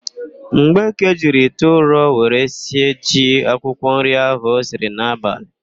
Mgbeke jiri ite ụrọ were sie ji akwụkwọnri ahụ o siri n'abalị.